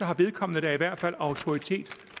har vedkommende da i hvert fald autoritet